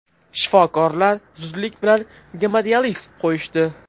Shifokorlar zudlik bilan gemodializ qo‘yishdi.